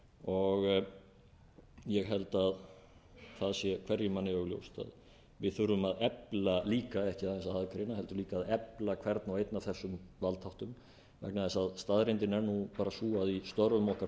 þremur ég held að það sé hverjum manni augljóst að við þurfum að efla líka ekki aðeins aðgreina heldur líka að efla hvern og einn af þessum valdþáttum vegna þess að staðreyndin er bara sú að í störfum okkar þurfum